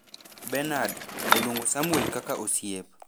Benard, oluongo Samwel kaka osiep,